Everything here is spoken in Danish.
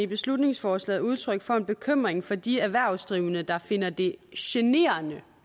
beslutningsforslaget udtryk for en bekymring for de erhvervsdrivende der finder det generende